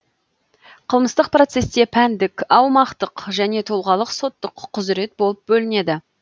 қылмыстық процесте пәндік аумақтық және тұлғалық соттық құзырет болып бөлінеді